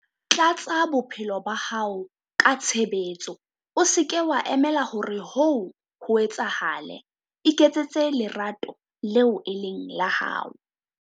Tlatsa bophelo ba hao ka tshebetso. O se ke wa emela hore hoo ho etsahale. Iketsetse lerato leo e leng la hao.